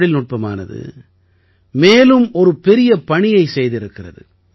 தொழில்நுட்பமானது மேலும் ஒரு பெரிய பணியைச் செய்திருக்கிறது